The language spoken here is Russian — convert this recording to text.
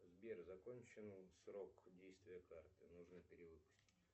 сбер закончен срок действия карты нужно перевыпустить